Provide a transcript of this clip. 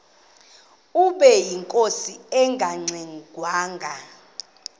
ubeyinkosi engangxe ngwanga